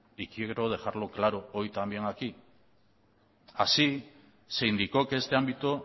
y quiero dejarlo claro hoy también aquí así se indicó que este ámbito